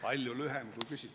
Aitäh!